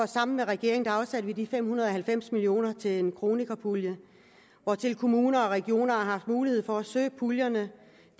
sammen med regeringen afsatte de fem hundrede og halvfems million kroner til en kronikerpulje og kommuner og regioner har haft mulighed for at søge puljerne